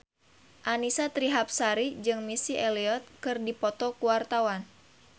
Annisa Trihapsari jeung Missy Elliott keur dipoto ku wartawan